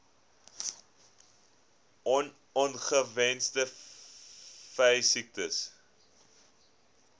on ongewenste veesiektes